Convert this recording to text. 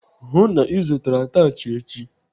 Hụụ na Ị zụtara atachị echi!